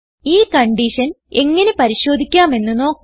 ഈ കൺഡിഷൻ എങ്ങനെ പരിശോധിക്കാമെന്ന് നോക്കാം